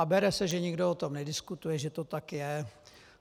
A bere se, že nikdo o tom nediskutuje, že to tak je.